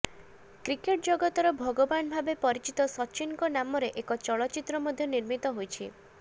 cricket ଜଗତର ଭଗବାନ ଭାବେ ପରିଚିତ ସଚିନଙ୍କ ନାମରେ ଏକ ଚଳଚ୍ଚିତ୍ର ମଧ୍ୟ ନିର୍ମିତ ହୋଇଛି